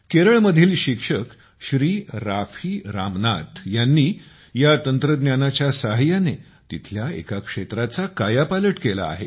केरळमधील शिक्षक श्री राफी रामनाथ यांनी या तंत्रज्ञानाच्या सहाय्याने येथील एका क्षेत्राचा कायापालट केला आहे